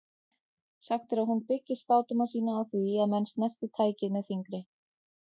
Sagt er að hún byggi spádóma sína á því að menn snerti tækið með fingri.